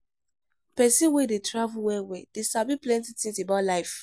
Pesin wey dey travel well-well dey sabi plenty tins about life.